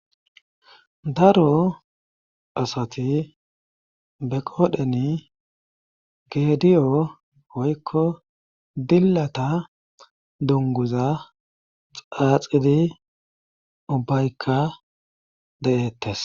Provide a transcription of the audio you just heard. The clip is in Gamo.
Daro asati be qoodheni gediyo hoykko dillata dunguza xaaxidi ubbaykka deettes.